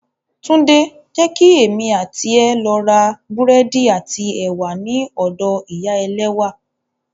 Tunde! Jẹ́ kí èmi àti ẹ lọ ra búrẹ́dì àti ẹ̀wà ní ọ̀dọ ìyá ẹlẹ́wà